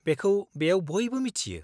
-बेखौ बेयाव बयबो मिथियो।